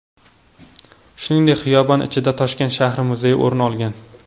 Shuningdek, xiyobon ichidan Toshkent shahri muzeyi o‘rin olgan .